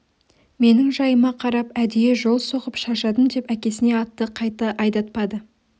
менің жайыма қарап әдейі жол соғып шаршадым деп әкесіне атты қатты айдатпады